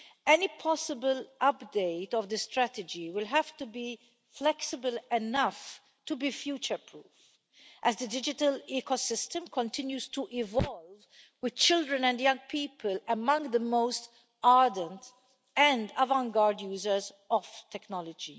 Any possible update of the strategy will have to be flexible enough to be future proof as the digital ecosystem continues to evolve, with children and young people among the most ardent and avant garde users of technology.